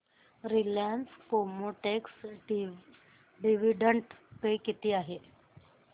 Reliance Chemotex dividend pay किती आहे